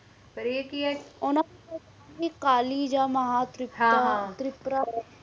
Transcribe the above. ਪਾਰ ਆਏ ਕਿ ਹੈ ਉਨ੍ਹਾਂ ਕੋਲ ਜੇ ਕਾਲੀ ਜੇ ਮਾਂ ਤੇ ਹੈ